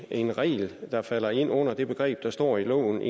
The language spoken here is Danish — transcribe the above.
en regel der falder ind under det begreb der står i loven